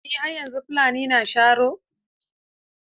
Eh, har yanzu Fulani suna sharo.